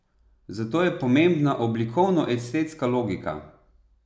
Zato je pomembna oblikovno estetska logika.